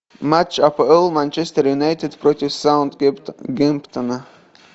матч апл манчестер юнайтед против саутгемптона